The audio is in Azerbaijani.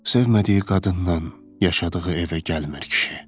Sevmədiyi qadınnan yaşadığı evə gəlmir kişi.